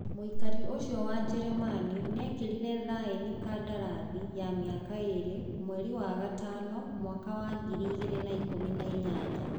Muikari ucio wa Jeremani niekerire thaĩni kandarathi ya miaka iri mwei ya gatano mwaka wa ngirĩ igĩrĩ na ikũmi na inyanya.